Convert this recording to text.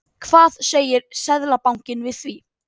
Hvað segir Seðlabankinn við því?